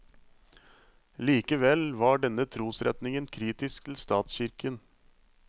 Likevel var denne trosretningen kritisk til statskirken.